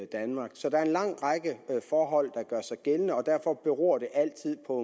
danmark så der er en lang række forhold der gør sig gældende og derfor beror det altid på